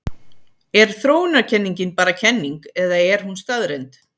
Er þróunarkenningin bara kenning eða er hún staðreynd?